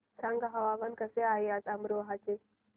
सांगा हवामान कसे आहे आज अमरोहा चे